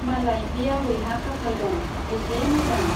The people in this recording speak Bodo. मालाय बे आबैहा खाफाल दं , बेसे मोजां।